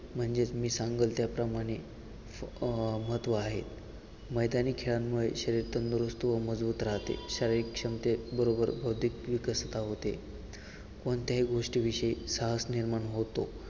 म्हणजेच मी सांगल त्याप्रमाणे अह महत्त्व आहे मैदानी खेळांमुळे शरीर तंदुरुस्त होऊन मजबूत राहते शारीरिक क्षमतेत बरोबर बौद्धिक विकासता होते कोणत्याही गोष्टीविषयी साहस निर्माण होतो.